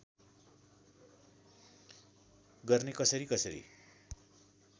गर्ने कसरी कसरी